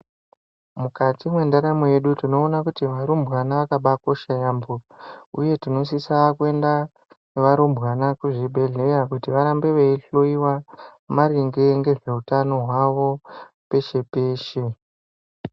Mukati mwendaramo yedu tinoona kuti varumbwana vakabakosha yaamho uye tinosisa kuenda nevarumbwana kuzvibhedhleya kuti varambe veihloyiwa maringe ngezveutano hwavo peshe-peshe.